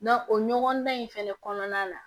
o ɲɔgɔndan in fɛnɛ kɔnɔna la